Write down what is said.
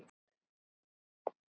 Það er ljótur leikur.